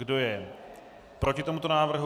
Kdo je proti tomuto návrhu?